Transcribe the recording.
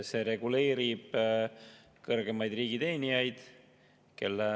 See reguleerib kõrgemate riigiteenijate.